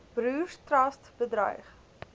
broers trust betuig